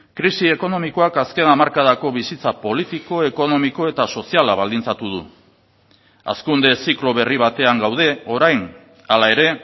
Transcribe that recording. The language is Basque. krisi ekonomikoak azken hamarkadako bizitza politiko ekonomiko eta soziala baldintzatu du hazkunde ziklo berri batean gaude orain hala ere